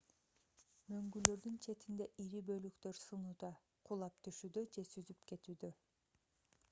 мөңгүлөрдүн четинде ири бөлүктөр сынууда кулап түшүүдө же сүзүп кетүүдө